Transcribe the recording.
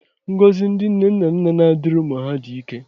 Ngọzi ndị nne na nna na-adịrị ụmụ ha dị ike